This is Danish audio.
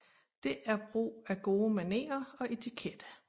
Det er brug af gode manerer og etikette